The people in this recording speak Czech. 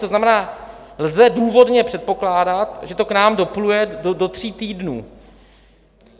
To znamená, lze důvodně předpokládat, že to k nám dopluje do tří týdnů.